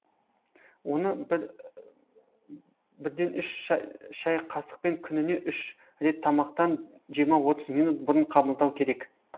оны бірден үш шай қасықпен күніне үш рет тамақтан жиырма отыз минут бұрын қабылдау керек